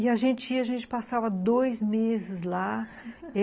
E a gente ia, a gente passava dois meses lá